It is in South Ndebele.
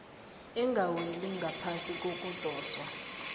engaweli ngaphasi kokudoswa